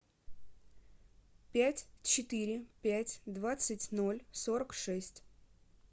пять четыре пять двадцать ноль сорок шесть